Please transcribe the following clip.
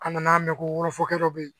An nana mɛn ko wolofɔkɛ dɔ bɛ ye